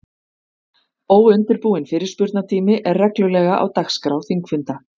Óundirbúinn fyrirspurnatími er reglulega á dagskrá þingfunda.